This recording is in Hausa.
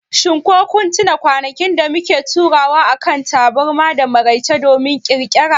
shin ko kun tuna kwanakin da muke taruwa akan taburma da maraice domin Ƙirƙiri?